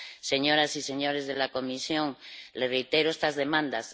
Señoras y señores de la Comisión, les reitero estas demandas.